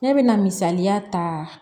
Ne bɛ na misaliya ta